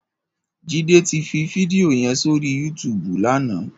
Jide ti fi fídìó yèn sóri yútùbú làná